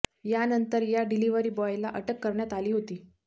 यानंतर या डिलिव्हरी बॉयला अटक करण्यात आली होती